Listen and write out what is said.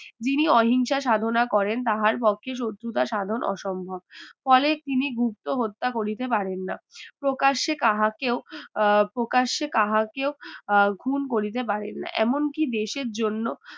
যিনি অহিংসা সাধনা করেন তাহার পক্ষে শত্রুতা সাধন অসম্ভব ফলে তিনি গুপ্ত হত্যা করিতে পারেন না প্রকাশে কাহাকেও আহ প্রকাশ্যে কাহাকেও খুন করিতে পারেনা এমনকি দেশের জন্য